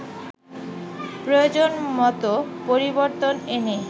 প্রয়োজন মতো পরিবর্তন এনে